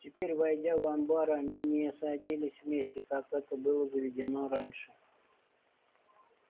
теперь войдя в амбар они не садились вместе как это было заведено раньше